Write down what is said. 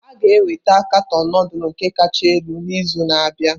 A ga-enweta katọn nudulu nke kacha elu n'izu na-abịa?